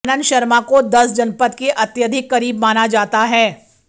आनंद शर्मा को दस जनपथ के अत्यधिक करीब माना जाता है